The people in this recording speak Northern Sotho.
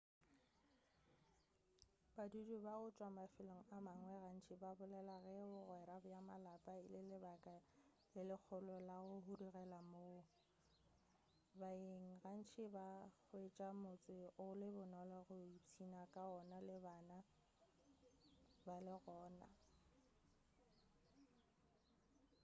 badudi ba go tšwa mafelong a mangwe gantši ba bolela ge bogwera bja malapa e le lebaka le legolo la go hudugela moo baeng gantši ba hwetša motse o le bonolo go ipšhina ka wona le bana ba le gona